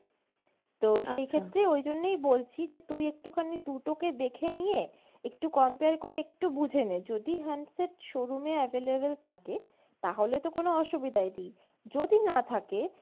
তো সেইখেত্রে ওইজন্যই বলছি যে তুই একটুখানি দুটো কে দেখে নিয়ে একটু compare করে একটু বুঝে নে যদি handset showroom এ available থাকে তাহলে তো কোনো অসুবিধাই নেই, যদি না থাকে,